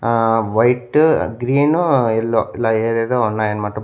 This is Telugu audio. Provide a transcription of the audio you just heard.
ఆ వైట్ గ్రీన్ ఎల్లో ఇలా ఏదేదో ఉన్నాయి అన్నమాట.